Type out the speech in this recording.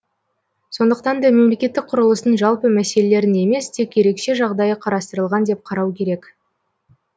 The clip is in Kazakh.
сондықтан да мемлекеттік құрылыстың жалпы мәселелерін емес тек ерекше жағдайы қарастырылған деп қарау керек